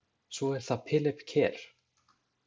Svo er það Philip Kerr.